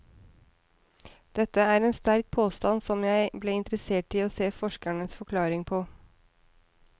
Dette er en sterk påstand som jeg ble interessert i å se forskernes forklaring på.